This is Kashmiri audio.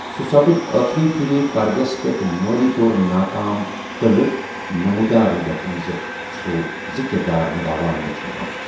سُہ سُپد ٲخری پھِرِ پردس پیٹھ مٲلی طور نا كام 'قعلہ' نموٗدار، یتھ منز سُہ زٕ كِردار نِبھا وان وُچھنہٕ آو ۔